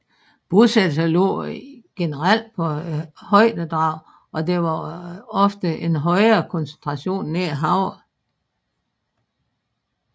Bosættelser lå generelt på højdedrag og der var ofte en højere koncentration nær havet